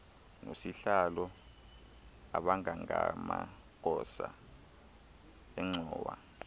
nosihlalo abangamagosa engxowa